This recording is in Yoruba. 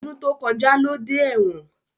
Ọdún tó kọjá ló dé ẹ̀wọ̀n